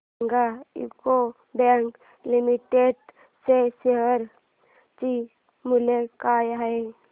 सांगा UCO bank limited च्या share चे मूल्य काय आहे